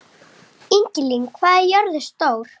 Ingilín, hvað er jörðin stór?